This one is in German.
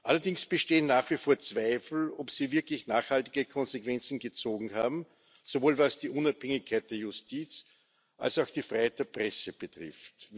Allerdings bestehen nach wie vor Zweifel, ob Sie wirklich nachhaltige Konsequenzen gezogen haben, sowohl was die Unabhängigkeit der Justiz als auch die Freiheit der Presse betrifft.